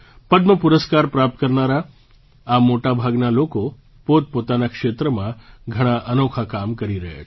પદ્મ પુરસ્કાર પ્રાપ્ત કરનારા આ મોટા ભાગના લોકો પોતપોતાના ક્ષેત્રમાં ઘણાં અનોખાં કામો કરી રહ્યા છે